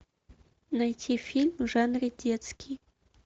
найти фильм в жанре детский